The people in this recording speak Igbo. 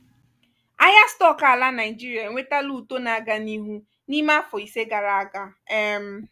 ahịa stock ala naịjirịa enwetala uto na-aga n'ihu n'ime afọ ise gara aga. um